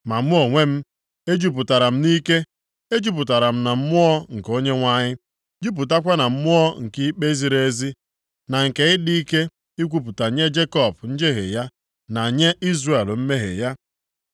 Ma mụ onwe m, ejupụtara m nʼike, ejupụtara m na Mmụọ nke Onyenwe anyị, jupụtakwa na mmụọ nke ikpe ziri ezi, na nke ịdị ike ikwupụta nye Jekọb njehie ya, na nye Izrel mmehie ya.